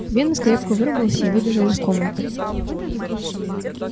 венус крепко выругался и выбежал из комнаты